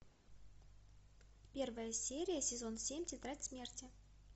первая серия сезон семь тетрадь смерти